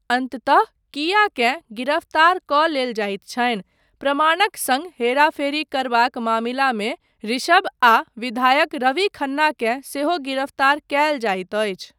अन्ततः कीयाकेँ गिरफ्तार कऽ लेल जाइत छनि, प्रमाणक सङ्ग हेराफेरी करबाक मामिलामे ऋषभ आ विधायक रवि खन्ना केँ सेहो गिरफ्तार कयल जाइत अछि।